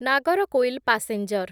Nagercoil passenger